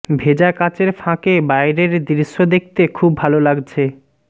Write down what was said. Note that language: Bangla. ভেজা কাচের ফাঁকে বাইরের দৃশ্য দেখতে খুব ভালো লাগছে